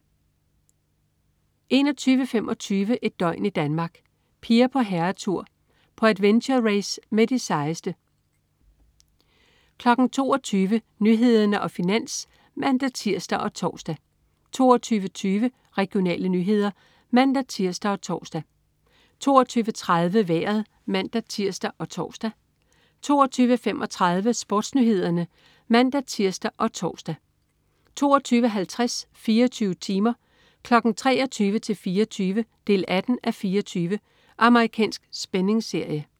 21.25 Et døgn i Danmark. Piger på herretur. På adventure-race med de sejeste 22.00 Nyhederne og Finans (man-tirs og tors) 22.20 Regionale nyheder (man-tirs og tors) 22.30 Vejret (man-tirs og tors) 22.35 SportsNyhederne (man-tirs og tors) 22.50 24 timer. 23:00-24:00. 18:24. Amerikansk spændingsserie